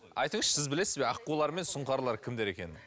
айтыңызшы сіз білесіз бе аққулар мен сұңқарлар кімдер екенін